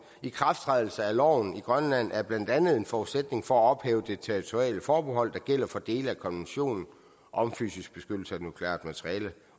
ikrafttrædelse af loven i grønland er blandt andet en forudsætning for at ophæve det territoriale forbehold der gælder for dele af konventionen om fysisk beskyttelse af nukleart materiale